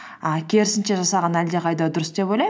і керісінше жасаған әлдеқайда дұрыс деп ойлаймын